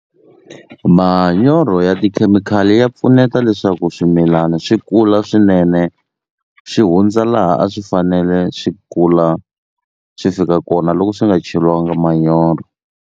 Manyoro ya tikhemikhali ya pfuneta leswaku swimilani swi kula swinene xi hundza laha a swi fanele swi kula swi fika kona loko swi nga cheliwanga manyoro.